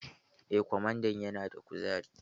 Eh, kwamandan yana da kuzari.